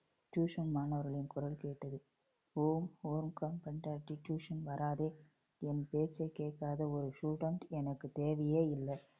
tuition மாணவர்களின் குரல் கேட்டது. tuition வராதே. என் பேச்சைக் கேட்காத ஒரு student எனக்கு தேவையே இல்லை